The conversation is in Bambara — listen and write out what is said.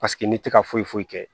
Paseke ne tɛ ka foyi foyi kɛ